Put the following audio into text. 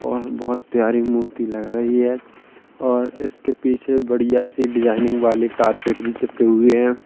और बहुत प्यारी मूर्ति लग रही है और इसके पीछे बढ़िया से डिज़ाइनिंग वाले कारपेट भी चिपके हुए हैं।